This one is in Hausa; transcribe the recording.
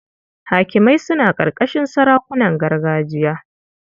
Hakimai suna ƙarƙashin sarakunan gargajiya.